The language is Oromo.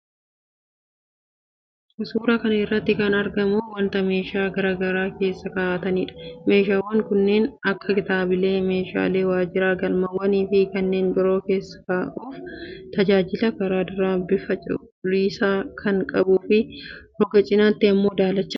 Suuraa kana irratti kan argamu wanta meeshaa garaa garaa keessa kaa'ataniidha. Meeshaawwan kanneen akka kitaabilee, meeshaalee waajjiraa, galmeewwanfi kanneen biroo keessa kaa'uuf tajaajila. Karaa duraan bifa cuquliisa kan qabuufi, roga cinaatiin immoo daalacha.